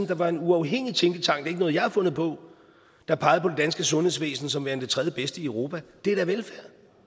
der var en uafhængig tænketank ikke noget jeg har fundet på der pegede på det danske sundhedsvæsen som værende det tredjebedste i europa det er da velfærd